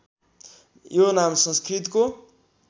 यो नाम संस्कृतको